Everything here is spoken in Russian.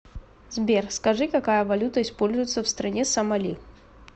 сбер скажи какая валюта используется в стране сомали